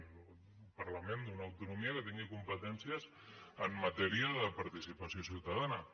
un parlament d’una autonomia que tingui competències en matèria de participació ciutadana